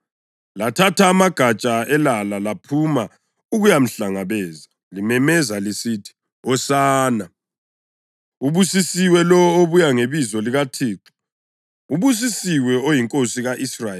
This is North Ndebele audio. Lathatha amagatsha elala laphuma ukuyamhlangabeza, limemeza lisithi, “Hosana!” + 12.13 AmaHubo 118.25-26 “Ubusisiwe lowo obuya ngebizo likaThixo!” “Ubusisiwe oyiNkosi ka-Israyeli!”